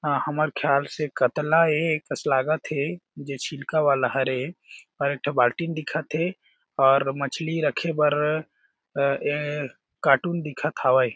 अ हमर ख्याल से कत्ला ए कस लागत हे दे छिलका वाला हर ए आऊ एक ठो बाल्टी म दिखत हे और मछली रखे बर अ ए कार्टून दिखत हावय।